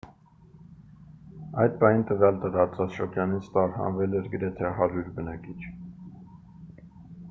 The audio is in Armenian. այդ պահին տվյալ տարածաշրջանից տարհանվել էր գրեթե 100 բնակիչ